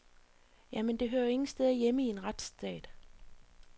Ja, men det hører jo ingen steder hjemme i en retsstat.